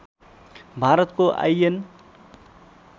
भारतको आइएन